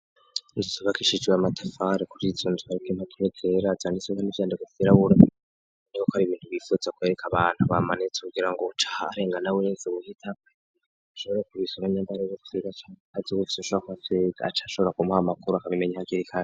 Inzosobakishijwe amatafare kury itsunzwariko impaturekerazanainsoga n'ivyandego sirabura ni ko ko ari ibintu bifuze kwereka abantu bamanetse kugira ngo uucaha arengana burenze buhita ashobore ku bisoganyambara zokiga candi azi ugufise usha kwa fega acashobora kumuha amakuru akabimenya hakirikane.